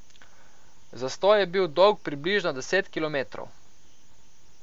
Zastoj je bil dolg približno deset kilometrov.